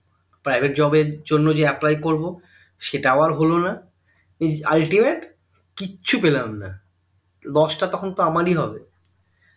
private job এর জন্য যে apply করবো সেটাও আর হলোনা ultimate কিচ্ছু পেলামনা lose টা তখন তো আমারি হবে